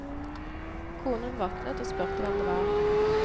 Konen våknet, og spurte hvem det var.